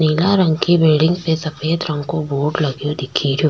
नीला रंग की बिल्डिंग पे सफ़ेद रंग को बोर्ड लग्यो दिखी रियो।